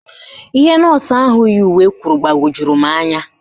Ihe nọọsụ ahụ yi uwe kwuru gbawojuru m anya